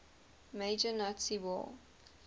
major nazi war